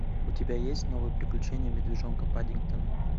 у тебя есть новые приключения медвежонка паддингтона